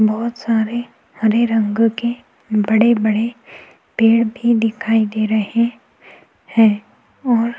बहोत सारे हरे रंग के बड़े-बड़े पेड़ भी दिखाई दे रहे हैं और --